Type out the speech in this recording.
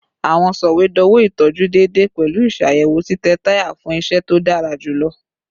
Awọn sọwedowo itọju deede pẹlu iṣayẹwo titẹ taya fun iṣẹ to dara julọ